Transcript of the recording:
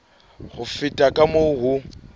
ho feta ka moo ho